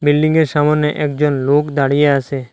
বিল্ডিংয়ের সামোনে একজন লোক দাঁড়িয়ে আছে।